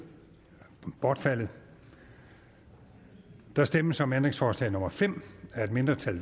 bortfaldet der stemmes om ændringsforslag nummer fem af et mindretal